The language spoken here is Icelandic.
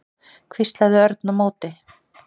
hvíslaði Örn á móti.